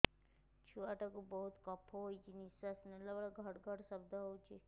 ଛୁଆ ଟା କୁ ବହୁତ କଫ ହୋଇଛି ନିଶ୍ୱାସ ନେଲା ବେଳେ ଘଡ ଘଡ ଶବ୍ଦ ହଉଛି